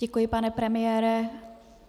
Děkuji, pane premiére.